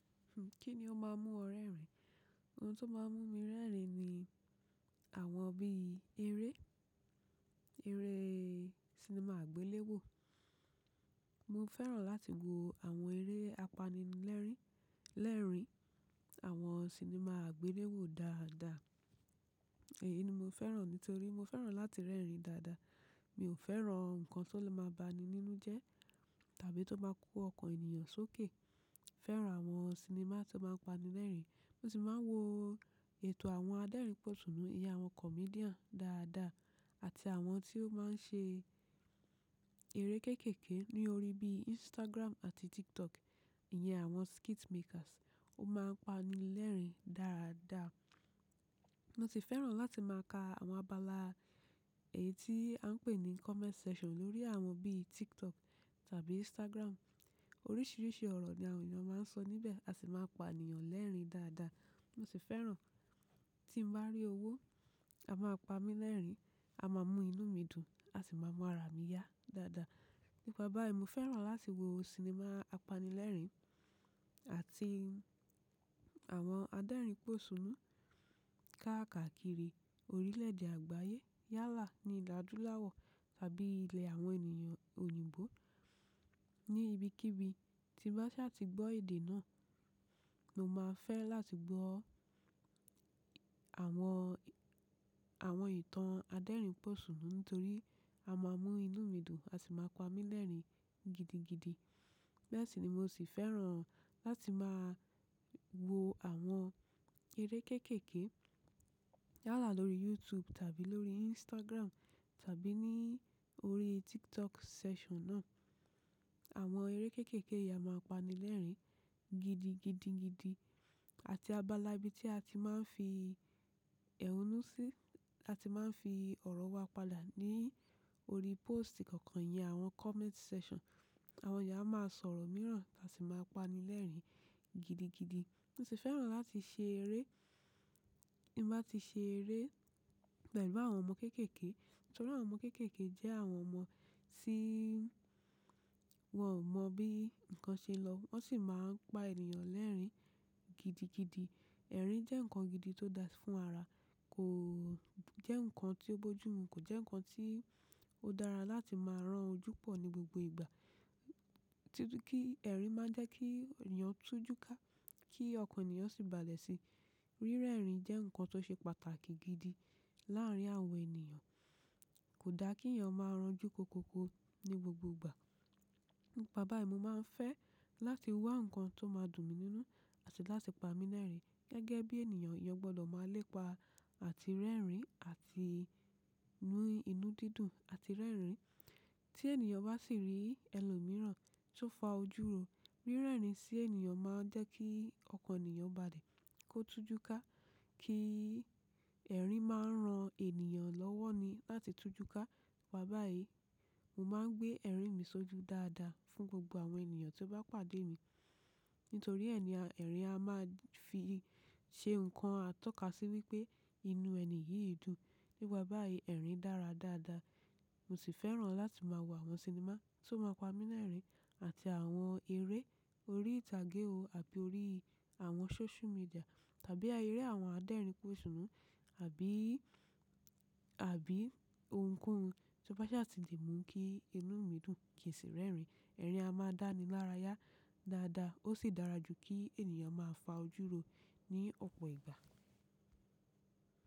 Kí ni ó máa ń mú ọ rẹ́rìn? Ohun tó máa ń mú mi rẹ́rìn ni àwọn bí eré, eré sinimá àgbéléwò. Mo fẹ́ràn láti wo àwọn eré apanilẹ́rìn-lẹ́rìn, àwọn sinimá àgbéléwò dáadáa. Èyí ni mo fẹ́ràn ní torí mo fẹ́ràn láti rẹ́rìn dáadáa. Mi ò fẹ́ràn nǹkan tó lè máa ba ni nínu jẹ́, tàbí tó máa ń kó ọkàn ènìyàn sókè. Fẹ́ràn àwọn sinimá tó máa ń pani lẹ́rìn. Mo sì máa ń wo ètò àwọn adẹ́rìnpòṣùnù, iye àwọn comedian dáadáa àti àwọn tí ó máa ń ṣe eré kéékèèké lórí bí Instagram àti TikTok, ìyẹn àwọn skit makers. Ó máa ń pani lẹ́rìn dáadáa. Mo sì fẹ́ràn láti máa ka àwọn abala èyí tí a ń pè ní comment section lórí àwọn bí TikTok tàbí Instagram. Oríṣiríṣi ọ̀rọ̀ ni àwọn ènìyàn máa ń sọ níbẹ̀, a sì máa ń pa ènìyàn lẹ́rìn dáadáa. Mo sì fẹ́ràn tí mo bá rí owó, a máa pa mí lẹ́rìn, a máa mú inú mi dùn, a sì máa mú ara mi yá dáadáa. Nípa báyìí, mo fẹ́ràn láti wo sinimá apanilẹ́rìn àti àwọn adẹ́rìnpòṣùnù káàkiri orílẹ̀ èdè àgbáyé. Yálà ní ìlú àdúláwọ̀ tàbí ilẹ̀ àwọn ènìyàn òyìnbó ní ibikíbi tí bá ṣe a ti gbọ́ èdè náà, mo máa fẹ́ láti gbọ́ àwọn, àwọn ìtàn adẹ́rìnpòṣùnù nítorí a máa mú inú mi dùn, a sì máa pa mí lẹ́rìn gidigidi. Lẹ́ẹ̀sí ni mo sì fẹ́ràn láti máa wo àwọn eré kéékèèké yálà lórí YouTube tàbí lórí Instagram tàbí ní orí TikTok section náà. Àwọn eré kéékèèké yìí a máa pani lẹ́rìn gidigidigidi àti abala bí tí a ti máa ń fi ẹhúnú sí, a ti máa ń fi ọ̀rọ̀ wa padà ní orí post kọ̀ọ̀kan iyẹn àwọn comment section. Àwọn eeyan a máa sọ ọ̀rọ̀ mìíràn, a sì máa pani lẹ́rìn gidigidi. Mo sì fẹ́ràn láti ṣe eré. Bí mo bá ti ṣe eré, pelu àwọn ọmọ kéékèèké, nítorí àwọn ọmọ kéékèèké jẹ́ àwọn ọmọ tí wọ́n ò mọ bí nǹkan ṣe lọ, wọ́n sì máa ń pa ènìyàn lẹ́rìn gidigidi. Ẹ̀rín jẹ́ nǹkan gidi tó da fún ara. Kò jẹ́ nǹkan tí ó bojúmu, kò jẹ́ nǹkan tí ó dára láti máa rán ojú pọ̀ ní gbogbo ìgbà. Títú kí ẹ̀rín máa jẹ́ kí ènìyàn tú jú ká, kí ọkàn ènìyàn sì balẹ̀ sí i. Rí rẹ́rìn jẹ́ nǹkan tó ṣe pàtàkì gidi láàárín àwọn ènìyàn. Kò da kí ènìyàn máa rán ojú kóko ni gbogbo ìgbà. Nípa báyìí, mo máa ń fẹ́ láti wá nǹkan tó máa dùn mi nínú àti láti pa mí lẹ́rìn gẹ́gẹ́ bí ènìyàn. Ìyẹn gbọ́dọ̀ máa lépa àti rẹ́rìn àti inú, inú dídùn àti rẹ́rìn. Tí ènìyàn bá sì rí ẹlòmíràn tó fa ojú ro, rí rẹ́rìn sí ènìyàn máa jẹ́ kí ọkàn ènìyàn balẹ̀ kó tú jú ká. Kí ẹ̀rín máa ń ran ènìyàn lọ́wọ́ ni láti tú jú ká. Wá bá èyí, mo máa ń gbé ẹ̀rín mi sójú dáadáa fún gbogbo àwọn ènìyàn tí ó bá pàdé mi. Nítorí ẹni, ẹ̀rín a máa fi je nǹkan a tọ́ka sí wípé inú ẹni yìí dùn. Nípa báyìí, ẹ̀rín dára dáadáa. Mo sì fẹ́ràn láti máa wo àwọn sinimá tó máa pa mí lẹ́rìn àti àwọn eré orí ìtàgé o àbí orí àwọn social media tàbí eré àwọn adẹ́rìnpòṣùnù àbí, àbí ohunkóhun to bá ṣe a ti lè mú kí inú mi dùn kì sì rẹ́rìn. Ẹ̀rín a máa dá ni lára yá dáadáa. Ó sì dára jù kí ènìyàn máa fa ojú ro ní ọ̀pọ̀ ìgbà.